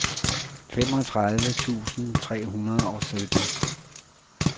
femogtredive tusind tre hundrede og sytten